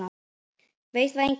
Veit það enginn?